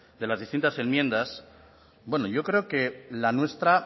de las distintas enmiendas bueno yo creo la nuestra